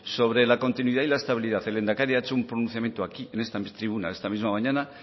sobre la continuidad y la estabilidad el lehendakari ha hecho un pronunciamiento aquí en esta tribuna esta misma mañana